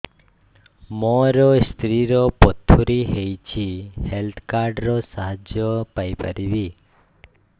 ମୋ ସ୍ତ୍ରୀ ର ପଥୁରୀ ହେଇଚି ହେଲ୍ଥ କାର୍ଡ ର ସାହାଯ୍ୟ ପାଇପାରିବି